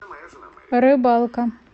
рыбалка